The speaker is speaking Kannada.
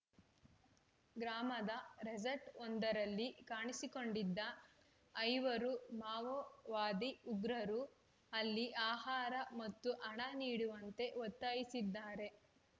ಗ್ರಾಮದ ರೆಸಾರ್ಟ್ ಒಂದರಲ್ಲಿ ಕಾಣಿಸಿಕೊಂಡಿದ್ದ ಐವರು ಮಾವೋವಾದಿ ಉಗ್ರರು ಅಲ್ಲಿ ಆಹಾರ ಮತ್ತು ಹಣ ನೀಡುವಂತೆ ಒತ್ತಾಯಿಸಿದ್ದಾರೆ